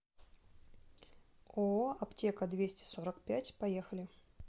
ооо аптека двести сорок пять поехали